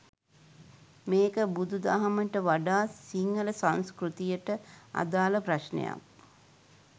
මේක බුදු දහමට වඩා සිංහල සංස්කෘතියට අදාළ ප්‍රශ්නයක්.